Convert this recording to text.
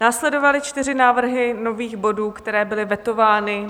Následovaly čtyři návrhy nových bodů, které byly vetovány.